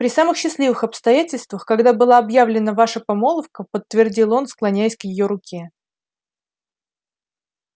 при самых счастливых обстоятельствах когда была объявлена ваша помолвка подтвердил он склоняясь к её руке